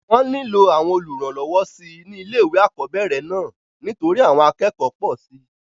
wọ́n nílò àwọn olùrànlọwọ síi ní ilé ìwé àkọ́bẹ̀rẹ̀ náà nítorí àwọn akẹ́kọ̀ọ́ pọ̀ síi